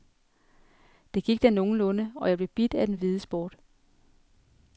Det gik da nogenlunde, og jeg blev bidt af den hvide sport.